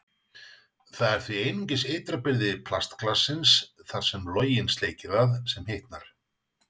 Það er því einungis ytra byrði plastglassins, þar sem loginn sleikir það, sem hitnar.